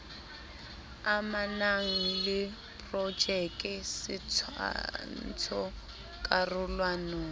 amanang le projeke setshwantsho karolwana